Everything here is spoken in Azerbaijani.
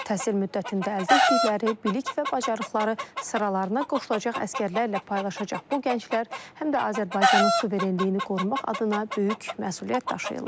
Təhsil müddətində əldə etdikləri bilik və bacarıqları sıralarına qoşulacaq əsgərlərlə paylaşacaq bu gənclər həm də Azərbaycanın suverenliyini qorumaq adına böyük məsuliyyət daşıyırlar.